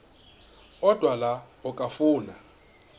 odwa la okafuna